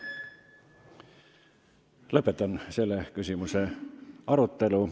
Lõpetan selle küsimuse arutelu.